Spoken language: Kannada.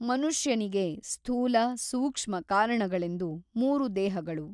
ಮನುಷ್ಯನಿಗೆ ಸ್ಥೂಲ ಸೂಕ್ಷ್ಮ ಕಾರಣಗಳೆಂದು ಮೂರು ದೇಹಗಳು.